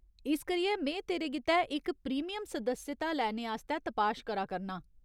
इस करियै में तेरे गित्तै इक प्रीमियम सदस्यता लैने आस्तै तपाश करा करनां।